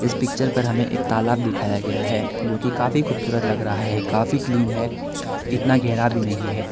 इस पिक्चर पर हमें एक तालाब दिखाया गया है जो की काफी खूबसूरत लग रहा है काफी क्लीन है इतना गहरा भी नहीं है।